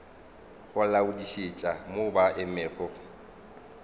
go laodišetša mo ba emego